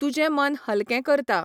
तुजे मन हल्कें करता.